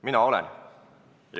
Mina olen.